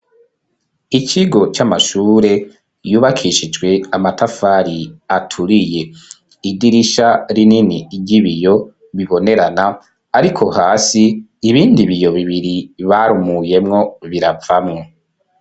Ikigo c'amashure, yubakishijwe amatafari, aturiye; idirisha rinini, ry'ibiyo, bibonerana; ariko hasi, ibindi biyo bibiri, barumuyemwo, biravamwo.